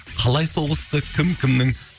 қалай соғысты кім кімнің